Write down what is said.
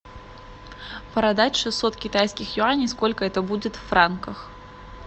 продать шестьсот китайских юаней сколько это будет в франках